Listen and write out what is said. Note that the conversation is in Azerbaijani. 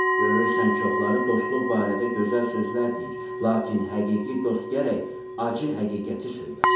Görürsən çoxları dostluq barədə gözəl sözlər deyir, lakin həqiqi dost gərək acı həqiqəti söyləsin.